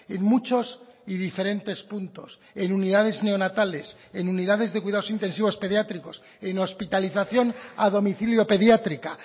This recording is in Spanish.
en muchos y diferentes puntos en unidades neonatales en unidades de cuidados intensivos pediátricos en hospitalización a domicilio pediátrica